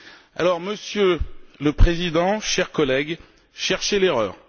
Alors, Monsieur le Président, chers collègues, cherchez l'erreur.